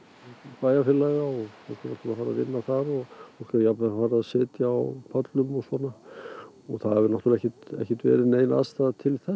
bæjarfélaga og fólk er jafnvel farið að sitja á pöllum og svona og það hefur náttúrlega ekki verið nein aðstaða til þess